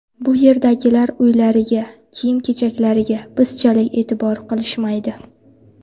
Bu yerdagilar uylariga, kiyim-kechaklariga bizchalik e’tibor qilishmaydi.